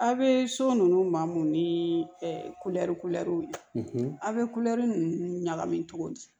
A' bɛ so ninnu ma mun ni kulɛri kulɛriw ye aw bɛ kulɛri ninnu ɲagami cogo di